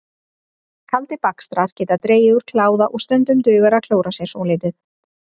Kaldir bakstrar geta dregið úr kláða og stundum dugar að klóra sér svolítið.